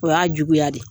O y'a juguya de